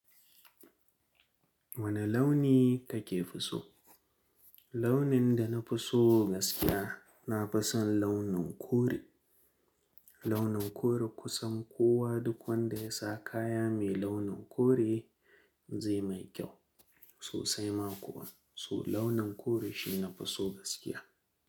Wane launi kake fi so? Launin da na fi so gaskiya, na fi son launin kore. Launin kore kusan kowa duk wanda ya sa kaya mai launin kore zai mai kyau sosai ma kuwa. So launin kore shi na fi so gaskiya.